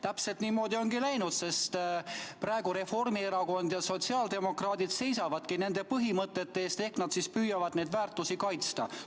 Täpselt niimoodi ongi läinud, sest praegu Reformierakond ja sotsiaaldemokraadid seisavadki nende põhimõtete eest ehk nad püüavad neid väärtusi kaitsta.